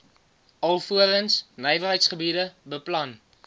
alvorens nywerheidsgebiede beplan